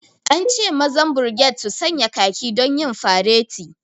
An ce mazan birged su sanya khaki don yin faret